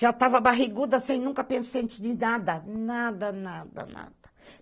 Já estava barriguda assim, nunca pensante de nada, nada, nada, nada.